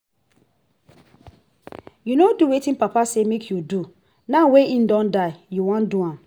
you no do wetin papa say make you do now wey he don die you wan do am